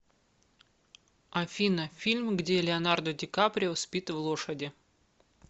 афина фильм где леонардо дикаприо спит в лошади